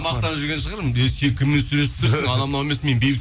мақтанып жүрген шығар ей сен кіммен сөйлесіп тұрсың анау мынау емес мен бейбіт